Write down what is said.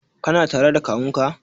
Kana tare da kawunka?